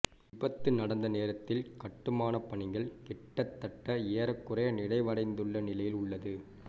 விபத்து நடந்த நேரத்தில் கட்டுமானப் பணிகள் கிட்டத்தட்ட ஏறக்குறைய நிறைவடைந்துள்ள நிலையில் உள்ளது